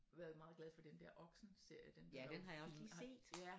Været meget glad for den dér Oxenserie den er jo